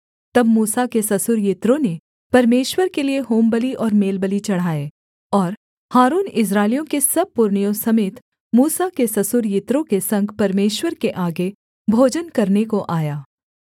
तब मूसा के ससुर यित्रो ने परमेश्वर के लिये होमबलि और मेलबलि चढ़ाए और हारून इस्राएलियों के सब पुरनियों समेत मूसा के ससुर यित्रो के संग परमेश्वर के आगे भोजन करने को आया